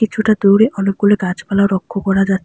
কিছুটা দূরে অনেকগুলি গাছপালা লক্ষ্য করা যাচ--